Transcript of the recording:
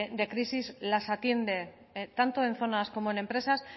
de crisis las atiende tanto en zonas como en empresas